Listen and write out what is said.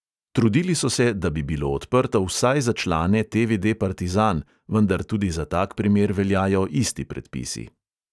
Trudili so se, da bi bilo odprto vsaj za člane TVD partizan, vendar tudi za tak primer veljajo isti predpisi.